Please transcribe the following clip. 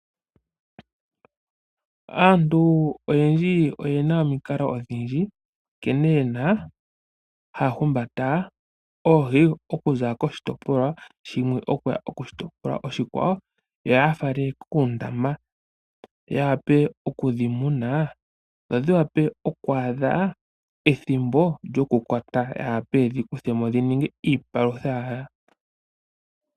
Aantu oyendji oyena omikalo odhindji nkene yena haya humbata oohi okuza koshitopolwa shimwe okuya koshitopolwa oshikwawo yo yafale kuundama ya vule okudhimuna dho dhiwape oku adha ethimbo lyokukwatwa yavule yedhi kuthemo dhininge iipalutha yawo.